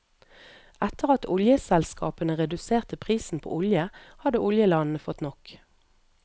Etter at oljeselskapene reduserte prisen på olje, hadde oljelandene fått nok.